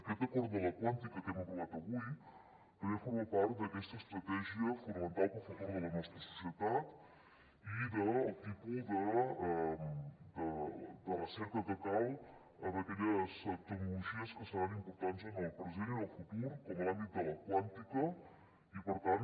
aquest acord de la quàntica que hem aprovat avui també forma part d’aquesta estratègia fonamental per al futur de la nostra societat i del tipus de recerca que cal en aquelles tecnologies que seran importants en el present i en el futur com l’àmbit de la quàntica i per tant